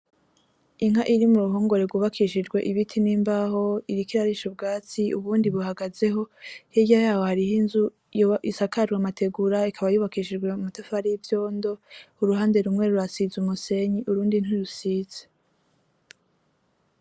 Inka iri muruhongore rwubakishijwe ibiti nimbaho , iriko irarisha ubwatsi ubundi ibuhagazeho , hirya yaho hariho inzu isakajwe amategura ikaba yubakishijwe amatafari yivyondo, uruhande rumwe urasize umusenyi urundi ntirusinze .